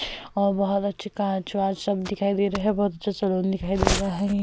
और बहोत अच्छी कांच-वांच सब दिखाई दे रहे है। बहोत अच्छा सैलून दिखाई दे रहा है।